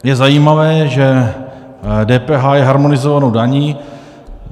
Je zajímavé, že DPH je harmonizovanou daní.